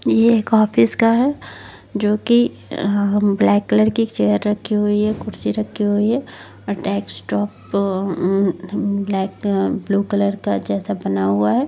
ये एक ऑफिस का है जो की ब्लैक कलर की एक चेयर रखी हुई है कुर्सी रखी हुई है और डेस्कटॉप पर हमाम ब्लैक ब्लू कलर का जैसा बना हुआ है।